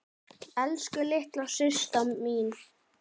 Elsku litla systa mín.